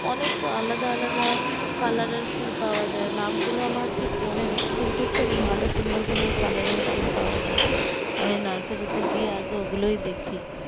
অনেক আলাদা আলাদা color এর ফুল পাওয়া যায় নামগুলো আমার ঠিক মনে নেই কিন্তু খুব ভালো সুন্দর সুন্দর color এর ফুল পাওয়া যায় আমি nursery তে গিয়ে আগে ও গুলোই দেখি